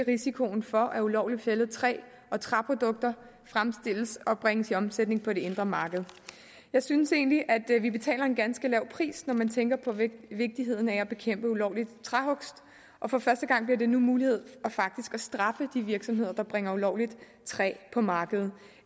risikoen for at ulovligt fældet træ og træprodukter fremstilles og bringes i omsætning på det indre marked jeg synes egentlig at vi betaler en ganske lav pris når man tænker på vigtigheden af at bekæmpe ulovlig træhugst for første gang bliver det nu muligt faktisk at straffe de virksomheder der bringer ulovligt træ på markedet